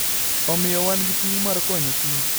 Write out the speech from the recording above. Omiyo, wan gi ting ' mar konyo kich.